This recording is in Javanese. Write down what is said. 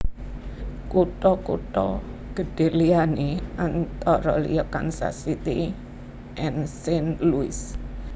Kutha kutha gedhé liyané antara liya Kansas City and Saint Louis